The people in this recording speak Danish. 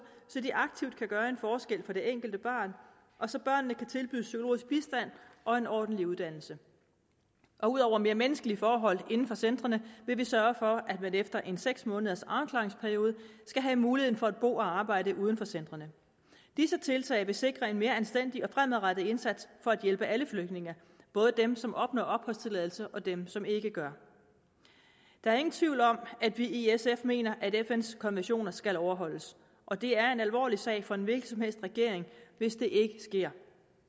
så de aktivt kan gøre en forskel for det enkelte barn og så børnene kan tilbydes psykologisk bistand og en ordentlig uddannelse og ud over mere menneskelige forhold inden for centrene vil vi sørge for at man efter en seks måneders afklaringsperiode skal have muligheden for at bo og arbejde uden for centrene disse tiltag vil sikre en mere anstændig og fremadrettet indsats for at hjælpe alle flygtninge både dem som opnår opholdstilladelse og dem som ikke gør der er ingen tvivl om at vi i sf mener at fns konventioner skal overholdes og det er en alvorlig sag for en hvilken som helst regering hvis det ikke sker